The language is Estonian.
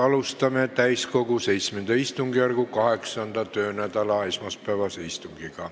Alustame täiskogu VII istungjärgu 8. töönädala esmaspäevast istungit.